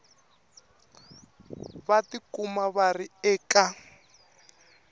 va tikuma va ri eka